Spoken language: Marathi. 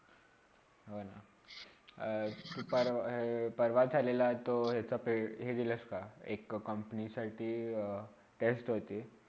होणं अ सुप्रवा परवा झालेला तो पेड ए दिलास का एक company साठी test होती.